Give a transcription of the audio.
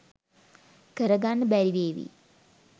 කරගන්න බැරිවේවි